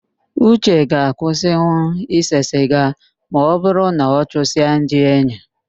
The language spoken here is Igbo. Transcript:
Uche ga-akwụsinwu ịse siga ma ọbụrụ na ọ chụsịa ndi enyi